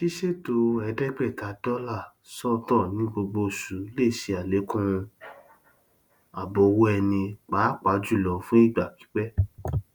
ṣíṣètò ẹẹdégbèta dólà sọtọ ní gbogbo oṣù lè ṣe àlẹkùn ààbò owó ẹni pàápàá jùlọ fún ìgbà pípẹ